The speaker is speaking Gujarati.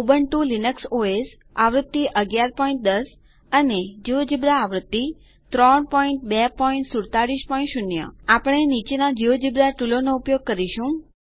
ઉબુન્ટુ લિનક્સ ઓએસ આવૃત્તિ 1110 જિયોજેબ્રા આવૃત્તિ 32470 આપણે નીચેના જિયોજેબ્રા ટુલોનો ઉપયોગ કરીશું